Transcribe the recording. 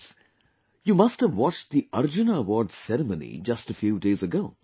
Friends, you must have watched the Arjuna Award ceremony just a few days ago